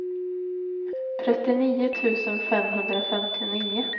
trettionio tusen femhundrafemtionio